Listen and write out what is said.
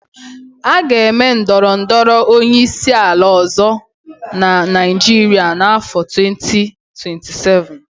A ga-enwe ndọrọ ndọrọ onyeisiala ọ̀zọ́ na Naịjiria n'áfọ 2027.